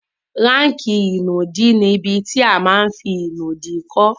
Ráàkì ìnùdí ní ibi tí a ma n fí ìnùdí kọ́